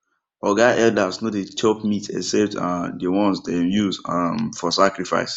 oga elders no dey chop meat except um the one dem use um for sacrifice